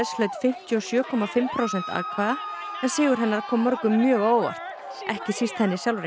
hlaut fimmtíu og sjö komma fimm prósent atkvæða sigur hennar kom mörgum mjög á óvart ekki síst henni sjálfri